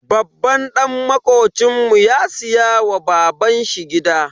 Babban dan makocinmu ya siya wa baban shi gida.